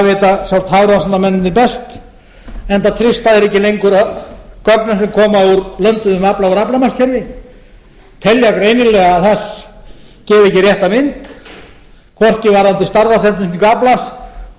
vita hafrannsóknamennirnir best enda treysta þeir ekki lengur gögnum sem koma úr lönduðum afla í aflamarkskerfi telja greinilega að það gefi ekki rétta mynd hvorki varðandi stærðarsetningu aflans né